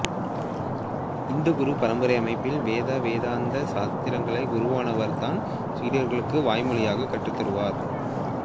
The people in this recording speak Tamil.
இந்து குரு பரம்பரை அமைப்பில் வேத வேதாந்த சாத்திரங்களை குருவானவர் தன் சீடர்களுக்கு வாய் மொழியாக கற்றுத்தருவார்